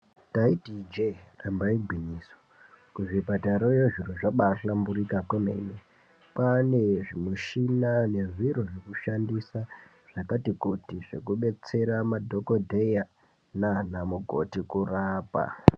Ndaiti ijee, damba igwinyiso, kuzvipatarayo zviro zvabaahlamburika kwemene. Kwaane zvimushina nezviro zvekushandisa zvakati kuti zvekubetsera madhokodheya naanamukoti kurapa.